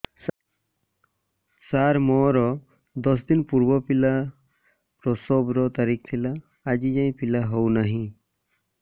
ସାର ମୋର ଦଶ ଦିନ ପୂର୍ବ ପିଲା ପ୍ରସଵ ର ତାରିଖ ଥିଲା ଆଜି ଯାଇଁ ପିଲା ହଉ ନାହିଁ